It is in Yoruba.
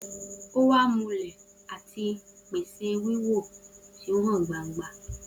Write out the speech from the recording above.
O wa mule ati pese wiwo ti o han gbangba.